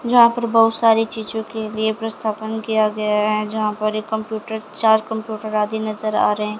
जहां पर बहुत सारी चीजों के लिए प्रस्तापन किया गया है जहां पर एक कंप्यूटर चार कंप्यूटर आदि नजर आ रहें--